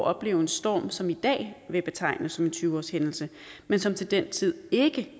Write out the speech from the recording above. opleve en storm som i dag bliver betegnet som en tyve årshændelse men som til den tid ikke